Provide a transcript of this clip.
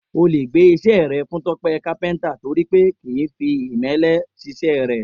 O lè gbé is̩é̩ re̩ fún Tó̩pé̩ kápé̩ǹtà torí pé kì í fi ìmé̩lé̩ s̩is̩é̩ rè̩